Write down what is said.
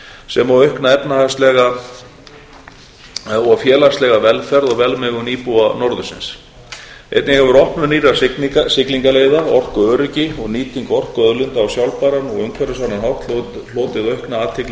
sem og aukna efnahagslega og félagslega velferð og velmegun íbúa norðursins einnig hefur opnun nýrra siglingaleiða orkuöryggi og nýting orkuauðlinda á sjálfbæran og umhverfisvænan hátt hlotið aukna athygli